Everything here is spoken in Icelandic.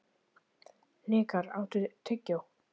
Hnikar, áttu tyggjó?